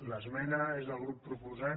l’esmena és del grup proposant